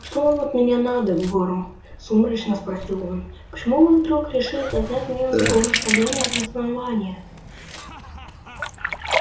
что вам от меня надо горм сумрачно спросил он почему вы вдруг решили догнать меня на таком расстоянии от основания